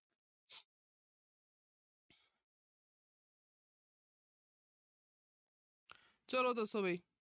ਚਲੋ ਦੱਸੋ ਵੀ।